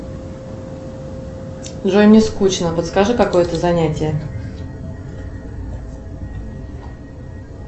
джой мне скучно подскажи какое то занятие